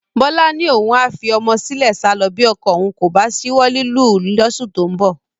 Bọ́lá ni òun a fi ọmọ sílẹ̀ sálọ bí ọkọ òun kò bá ṣíwọ́ lílù ú lóṣù tó ń bọ̀